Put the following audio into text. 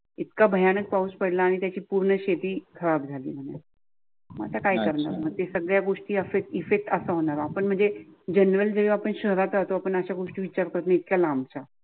इतका भयानक पाऊस पडला आणि त्याची पूर्ण शेती खराब झाली. मग आता काय करणार मग ते सगळ्या गोष्टी इफेक्ट अस होणार आपण म्हणजे जनरल जे आपण शहरात राहतो पण अशा गोष्टी विचार करतो इतक लाबच्या